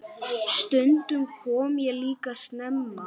Stundum kom ég líka snemma.